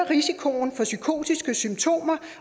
risikoen for psykotiske symptomer